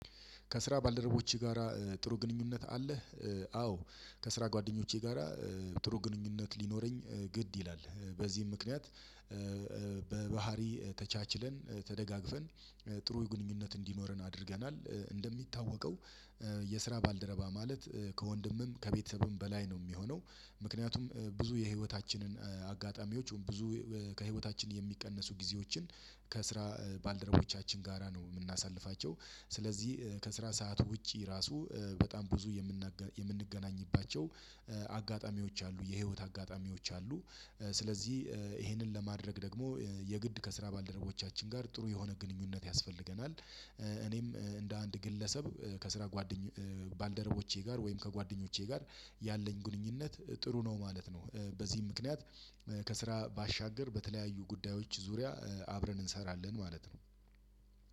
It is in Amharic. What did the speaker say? ከስራ ባልደረቦቺህ ጋራ ጥሩ ግንኙነት አለህ? አዎ ከስራ ጓደኞቼ ጋራ ጥሩ ግንኙነት ሊኖረኝ ግድ ይላል በዚህም ምክንያት እእ በባህሪ ተቻችለን ተደጋግፈን ጥሩ ግንኙነት እንዲኖርን አድርገናል። እንደሚታወቀው የስራ ባልደረባ ማለት ከወንድምም ከቤተሰብም በላይ ነው ሚሆነው። ምክንያቱም ብዙ የህይወታችንን አጋጣሚዎች ብዙ ከህይወታችን የሚቀነሱ ጊዜዎችን ከስራ ባልደረቦቻችን ጋራ ነው የምናሳልፋቸው። ስለዚህ ከስራ ሰዓት ውጪ ራሱ በጣም ብዙ የምናጋ የምንገናኝባቸው አጋጣሚዎች አሉ የህይወት አጋጣሚዎች አሉ። ስለዚህ ይሄንን ለማድረግ ደግሞ የግድ ከስራ ባልደረቦቻችን ጋር ጥሩ የሆነ ግንኙነት ያስፈልገናል። እኔም እንደ አንድ ግለሰብ ከስራ ጓደኘ ባልደረቦቼ ጋር ወይም ከጓደኞቼ ጋር ያለኝ ግንኙነት ጥሩ ነው ማለት ነው። በዚህ ምክንያት ከስራ ባሻገር በተለያዩ ጉዳዮች ዙሪያ አብረን እንሰራለን ማለት ነው።